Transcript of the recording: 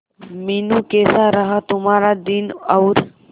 मीनू कैसा रहा तुम्हारा दिन और